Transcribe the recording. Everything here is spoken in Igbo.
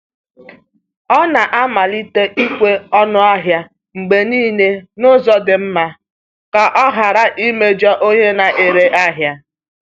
Ọ na-amalite ịkwụ ọnụ ahịa mgbe niile n’ụzọ dị mma ka ọ ghara imejọ onye na-ere ahịa.